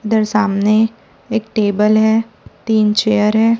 इधर सामने एक टेबल है तीन चेयर है।